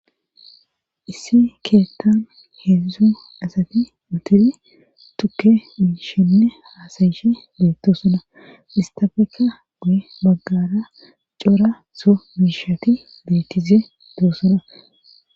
Issi keettan heedzdzu asati utiri tukke miishenne haasayishe beetto suna istafeeka guye maggara cora so miishati beettize doo suna